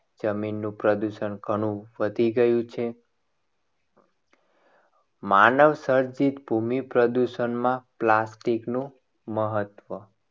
જમીનનું પ્રદૂષણ ઘણું વધી ગયું છે. માનવસર્જિત ભૂમિ પ્રદૂષણમાં plastic નું મહત્વ